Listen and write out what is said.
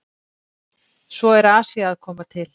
Svo er Asía að koma til.